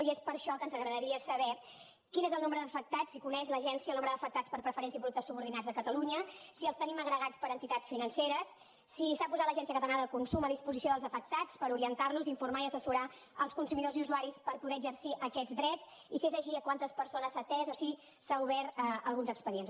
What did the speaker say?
i és per això que ens agradaria saber quin és el nombre d’afectats si coneix l’agència el nombre d’afectats per preferents i productes subordinats a catalunya si els tenim agregats per entitats financeres si s’ha posat l’agència catalana de consum a disposició dels afectats per orientar los informar i assessorar els consumidors i usuaris per poder exercir aquests drets i si és així a quantes persones s’ha atès o si s’han obert alguns expedients